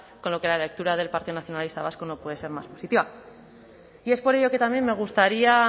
con lo que la lectura del partido nacionalista vasco no puede ser más positiva y es por ello que también me gustaría